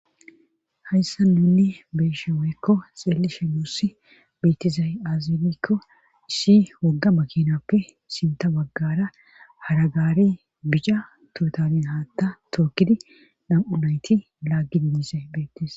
Hayssan nuuni be7ishe woykko xeellishe nuussi beetizay aaze giikko issi wogga makinnappe sintta baggaara hara gaarey bica toytaliya haatta tookkidi nam7u nayti laaggidi dizay beettes.